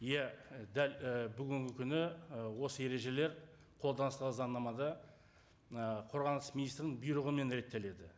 иә дәл і бүгінгі күні ы осы ережелер қолданыстағы заңнамада мына қорғаныс министрінің бұйрығымен реттеледі